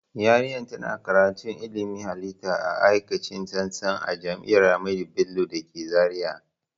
Yarinya ta na karatun ilmin halitta a aikace tsantsa a jami'ar ahamadu bello da ke zaria